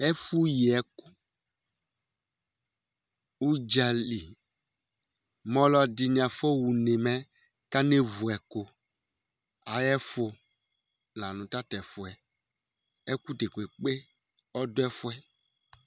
Ɛfʋ yi ɛkʋ, ʋdzali mʋ alʋɛdìní afɔha ʋne mɛ kanevʋ ɛkʋ ayʋ ɛfʋ la nʋ tatʋ ɛfʋɛ Ɛkʋ dekpekpe ɔdu ɛfʋɛ